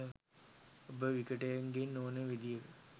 ඔබට විකටයෙකු ගෙන් ඕනෙම විදිහක